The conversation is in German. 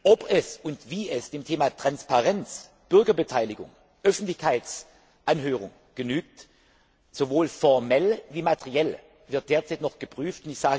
Ob und wie es dem Thema Transparenz, Bürgerbeteiligung, Öffentlichkeitsanhörung genügt sowohl formell wie materiell wird derzeit noch geprüft.